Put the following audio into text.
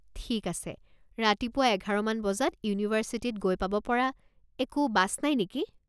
ঠিক আছে ৰাতিপুৱা এঘাৰ মান বজাত ইউনিভাৰ্ছিটিত গৈ পাব পৰা একো বাছ নাই নেকি?